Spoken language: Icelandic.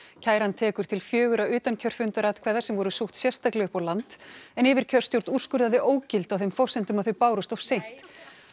kæran tekur til fjögurra utankjörfundaratkvæða sem voru sótt sérstaklega upp á land en yfirkjörstjórn úrskurðaði ógild á þeim forsendum að þau bárust of seint